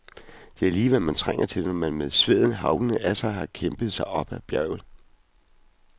Det er lige hvad man trænger til, når man med sveden haglende af sig har kæmpet sig op ad bjerget.